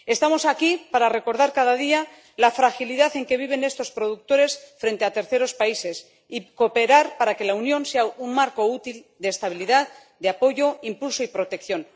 Estamos aquí para recordar cada día la fragilidad en que viven estos productores frente a terceros países y para cooperar para que la Unión sea un marco útil de estabilidad, de apoyo, de impulso y de protección.